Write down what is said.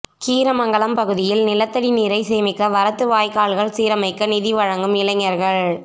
கீரமங்கலம் பகுதியில் நிலத்தடி நீரை சேமிக்க வரத்து வாய்கால்கள் சீரமைக்க நிதி வழக்கும் இளைஞர்கள்